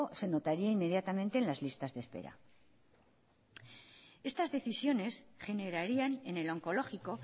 se notaría inmediatamente en las listas de espera estas decisiones generarían en el oncológico